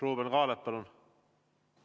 Ruuben Kaalep, palun!